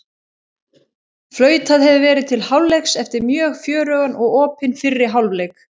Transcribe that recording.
Flautað hefur verið til hálfleiks eftir mjög fjörugan og opinn fyrri hálfleik!